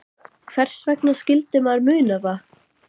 Höfðu þeir margt í takinu, eins og vænta mátti.